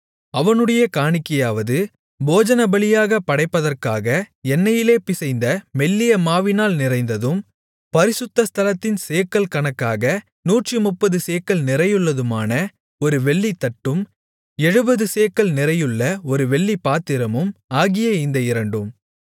அவனுடைய காணிக்கையாவது போஜனபலியாகப் படைப்பதற்காக எண்ணெயிலே பிசைந்த மெல்லிய மாவினால் நிறைந்ததும் பரிசுத்த ஸ்தலத்தின் சேக்கல் கணக்காக நூற்றுமுப்பது சேக்கல் நிறையுள்ளதுமான ஒரு வெள்ளித்தட்டும் எழுபது சேக்கல் நிறையுள்ள ஒரு வெள்ளிப்பாத்திரமும் ஆகிய இந்த இரண்டும்